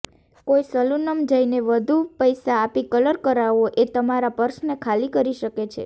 કોઈ સેલૂનમં જઈને વધુ પૈસા આપી કલર કરાવવો એ તમારા પર્સને ખાલી કરી શકે છે